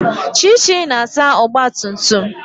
Chichi na-asa ogbatumtum